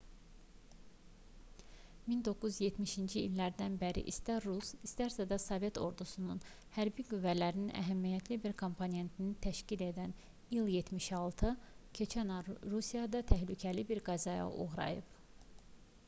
1970-ci illərdən bəri istər rus istərsə də sovet ordusunun hərbi qüvvələrinin əhəmiyyətli bir komponentini təşkil edən il-76 keçən ay rusiyada təhlükəli bir qəzaya uğrayıb